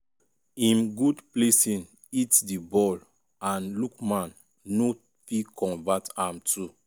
im good placing hit di ball and lookman no fit convert am too.